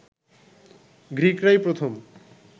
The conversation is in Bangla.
গ্রীকরাই প্রথম